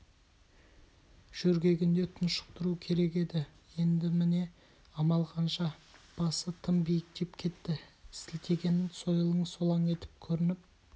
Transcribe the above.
жөргегінде тұншықтыру керек еді енді міне амал қанша басы тым биіктеп кетті сілтеген сойылың солаң етіп көрініп